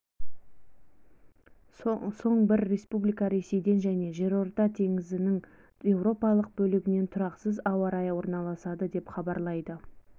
соң бірі республикаға ресейден және жерорта теңізінің еуропалық бөлігінен тұрақсыз ауа райы аралысады деп хабарлайды